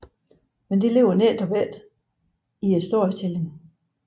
Men det ligger netop ikke i storytelling